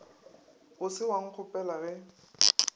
o se wa nkgopela ge